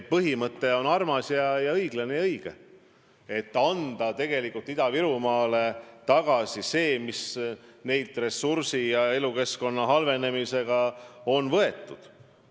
Põhimõte on armas ja õiglane ja õige: tuleks Ida-Virumaale hüvitada see, mis neile sealset ressurssi kasutades elukeskkonna halvendamisega on tehtud.